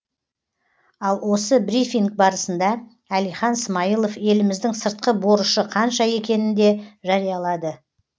ал осы брифинг барысында әлихан смайылов еліміздің сыртқы борышы қанша екенін де жариялады